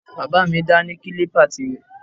Bàbá mi dá ní kílípà tirẹ̀